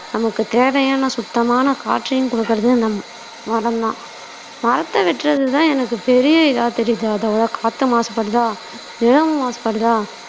நமக்கு தேவையான சுத்தமான காற்றையும் கொடுக்கிறது நம் மரம்தான் மரத்த வெட்டுறதுதான் எனக்கு பெரிய இதா தெரியுது அத விட காத்து மாசுபடுதா நிலமும் மாசுபடுதா